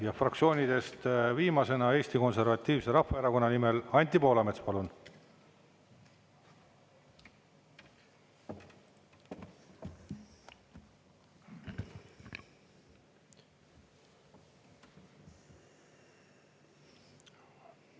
Ja fraktsioonidest viimasena Eesti Konservatiivse Rahvaerakonna nimel Anti Poolamets, palun!